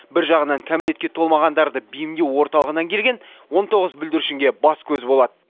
бір жағынан кәмелетке толмағандарды бейімдеу орталығынан келген он тоғыз бүлдіршінге бас көз болады